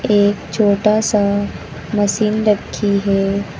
एक छोटा सा मशीन रखी है।